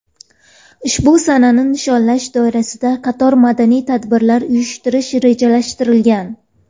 Ushbu sanani nishonlash doirasida qator madaniy tadbirlar uyushtirish rejalashtirilgan.